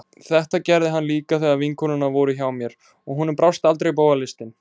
Þetta gerði hann líka þegar vinkonurnar voru hjá mér, og honum brást aldrei bogalistin.